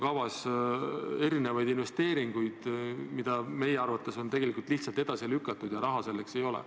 Kavas on erinevaid investeeringuid, mida meie arvates on tegelikult lihtsalt edasi lükatud, ja raha selleks ei ole.